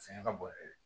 Fɛngɛ ka bon yɛrɛ de